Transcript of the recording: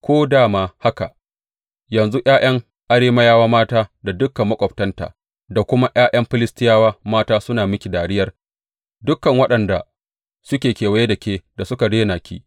Ko da ma haka, yanzu ’ya’yan Arameyawa mata da dukan maƙwabtanta da kuma ’ya’yan Filistiyawa mata suna miki dariyar, dukan waɗanda suke kewaye da ke da suka rena ki.